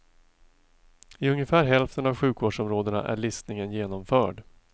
I ungefär hälften av sjukvårdsområdena är listningen genomförd.